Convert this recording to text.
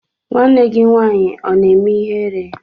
Nwanne gị nwaanyị ọ na-eme ihere?